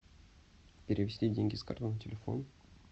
перевести деньги с карты на телефон